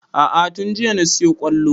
A'a tun jiya na siyo ƙwallo